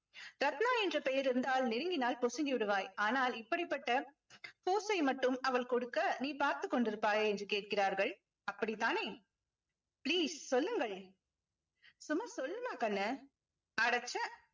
ரத்னா என்ற பெயர் இருந்தால் நெருங்கினால் பொசுங்கி விடுவாய் ஆனால் இப்படிப்பட்ட pose ஐ மட்டும் அவள் கொடுக்க நீ பார்த்துக் கொண்டிருப்பாயா என்று கேட்கிறார்கள் அப்படித்தானே please சொல்லுங்கள் சும்மா சொல்லுமா கண்ணு அடச்சே